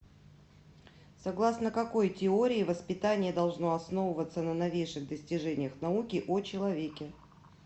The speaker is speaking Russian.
согласно какой теории воспитание должно основываться на новейших достижениях науки о человеке